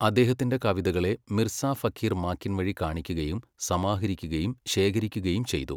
അദ്ദേഹത്തിൻ്റെ കവിതകളെ മിർസാ ഫഖിർ മാക്കിൻ വഴി കാണിക്കുകയും സമാഹരിക്കുകയും ശേഖരിക്കുകയും ചെയ്തു.